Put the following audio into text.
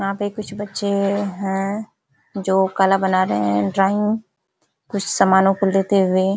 यहाँ पे कुछ बच्चे हैं जो कला बना रहे हैं ड्राइंग कुछ समनों को लेते हुए --